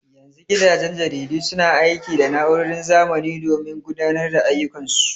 Yanzu gidajen jaridu suna aiki da na'urorin zamani domin gudanar da ayyukan su.